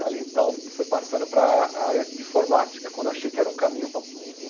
Dali, então, fui passando para área de informática, quando achei que era um caminho, para um um